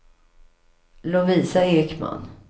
Lovisa Ekman